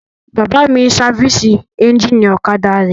Bàbá mi n sáfìsì éjìnì ọ̀kadà rẹ̀